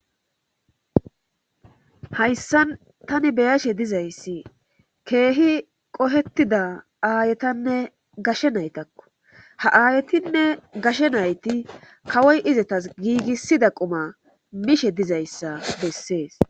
Hayssa tani beyashe dizayssi keehi qohettida aayetanne gashe naytakko ha aayetinne gashe nayti kawoy izetas giigissida quma mishe dizayssa bessees